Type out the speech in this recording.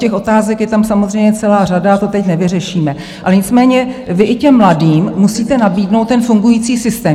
Těch otázek je tam samozřejmě celá řada, to teď nevyřešíme, ale nicméně vy i těm mladým musíte nabídnout ten fungující systém.